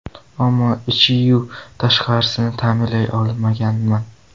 Ammo ichiyu tashqarisini ta’mirlay olmaganman.